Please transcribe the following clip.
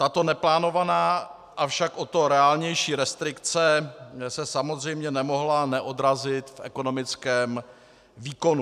Tato neplánovaná, avšak o to reálnější restrikce se samozřejmě nemohla neodrazit v ekonomickém výkonu.